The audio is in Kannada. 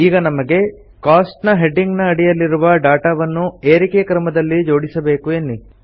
ಈಗ ನಮಗೆ ಕೋಸ್ಟ್ಸ್ ಹೆಡಿಂಗ್ ನ ಅಡಿಯಿರುವ ಡಾಟಾವನ್ನು ಏರಿಕೆ ಕ್ರಮದಲ್ಲಿ ಜೋಡಿಸಬೇಕು ಎನ್ನಿ